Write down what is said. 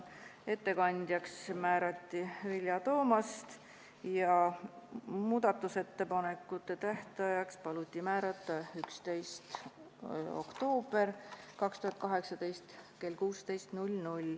Ettekandjaks määrati Vilja Toomast ja muudatusettepanekute tähtajaks paluti määrata 11. oktoober 2018 kell 16.